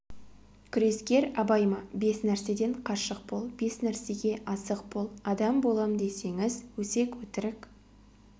күрескер абай ма бес нәрседен қашық бол бес нәрсеге асық бол адам болам десеңіз өсек өтірік